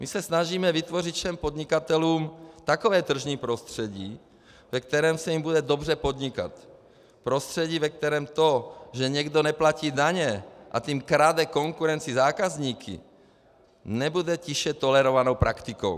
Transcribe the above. My se snažíme vytvořit všem podnikatelům takové tržní prostředí, ve kterém se jim bude dobře podnikat, prostředí, ve kterém to, že někdo neplatí daně, a tím krade konkurenci zákazníky, nebude tiše tolerovanou praktikou.